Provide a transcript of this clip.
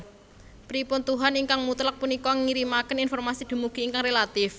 Pripun tuhan ingkang mutlak punika ngirimaken informasi dumugi ingkang relatif